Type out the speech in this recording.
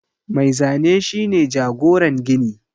Mai Zane shi ne jagoran gini